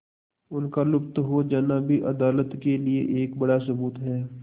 उनका लुप्त हो जाना भी अदालत के लिए एक बड़ा सबूत है